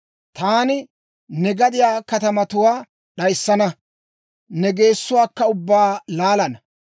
Taani ne gadiyaa katamatuwaa d'ayissana; ne geessuwaakka ubbaa laalana.